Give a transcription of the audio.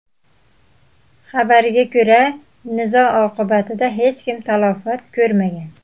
Xabarga ko‘ra, nizo oqibatida hech kim talafot ko‘rmagan.